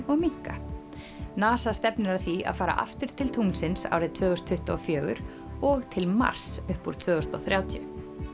og minnka NASA stefnir að því að fara aftur til tunglsins árið tvö þúsund tuttugu og fjögur og til Mars upp úr tvö þúsund og þrjátíu